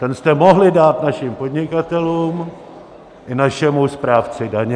Ten jste mohli dát našim podnikatelům i našemu správci daně.